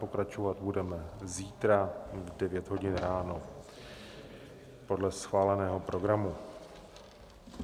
Pokračovat budeme zítra v 9 hodin ráno podle schváleného programu.